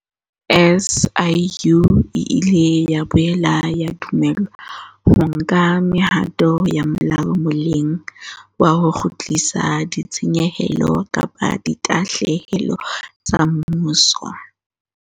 SIU e ile ya boela ya dumellwa ho nka mehato ya molao molemong wa ho kgutlisa ditshenyehelo kapa ditahlehelo tsa mmuso.